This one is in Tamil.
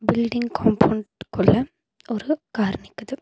பில்டிங் காம்பவுண்டுக்குள்ள ஒரு கார் நிக்குது.